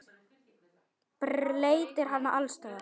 Bleytir hana alls staðar.